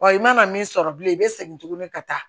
Wa i mana min sɔrɔ bilen i bɛ segin tuguni ka taa